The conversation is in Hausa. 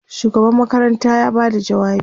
shugaban makaranta ya Bada jawabi